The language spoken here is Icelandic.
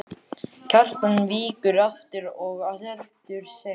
Kjartan víkur aftur og heldur seint.